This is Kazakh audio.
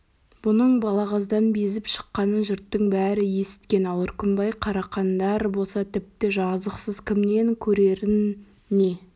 бұның балағаздан безіп шыққанын жұрттың бәрі есіткен ал үркімбай қарақандар болса тіпті жазықсыз кімнен көрерін не